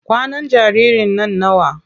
Kwanan jaririn nan nawa?